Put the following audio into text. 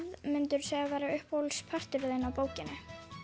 myndirðu segja að væri uppáhaldsparturinn þinn í bókinni